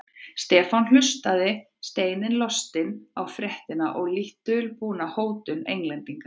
Stefán hlustaði steini lostinn á fréttina og lítt dulbúna hótun Englendinga.